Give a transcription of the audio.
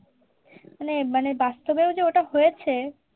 মানে মানে বাস্তবেও যে ওটা হয়েছে